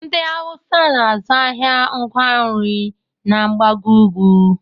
Ndị awụsa na-azụ ahịa ngwa nri na mgbago ugwu